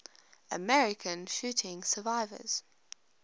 american shooting survivors